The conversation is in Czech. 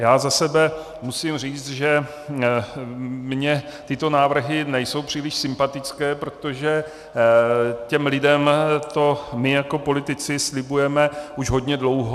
Já za sebe musím říct, že mně tyto návrhy nejsou příliš sympatické, protože těm lidem to my jako politici slibujeme už hodně dlouho.